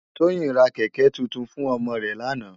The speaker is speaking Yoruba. Toyin rá kèkè tútún fún òmò rè làná